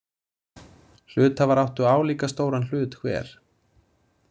Hluthafar áttu álíka stóran hlut hver.